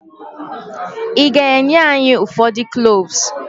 Ị ga-enye anyị ụfọdụ cloves?